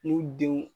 N'u denw